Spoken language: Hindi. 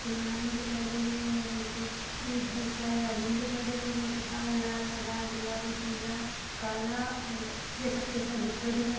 खुलानाबी दिखाई दे रहे है और हमको इ बहुत सारे आदमी दिखाई दे रहे है बहुत लाल हरा गुलाबी पीला काला और ऐ सबके सब दिखाई दे रहा है।